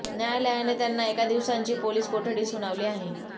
न्यायालयाने त्यांना एका दिवसांची पोलिस कोठडी सुनावली आहे